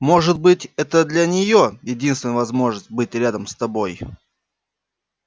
может быть это для нее единственная возможность быть рядом с тобой